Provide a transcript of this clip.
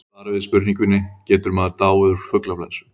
í svari við spurningunni getur maður dáið úr fuglaflensu